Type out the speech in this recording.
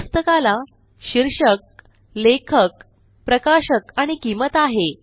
पुस्तकाला शीर्षक लेखक प्रकाशक आणि किंमत आहे